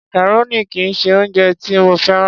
Macaroni kì í ṣe oúnjẹ tí mo féràn.